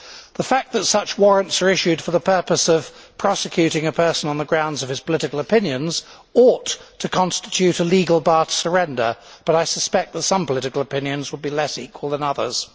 The fact that such warrants are issued for the purpose of prosecuting a person on the grounds of his political opinions ought to constitute a legal bar to surrender, but I suspect that some political opinions would be less equal than others.